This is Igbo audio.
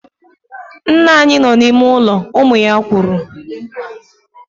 Nna anyị nọ n'ime ụlọ, ụmụ ya kwuru